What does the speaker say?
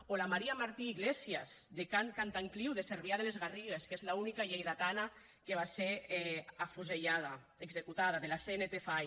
o la maria martí iglesias de can cantancliu de cervià de les garrigues que és l’única lleidatana que va ser afusellada executada de la cnt fai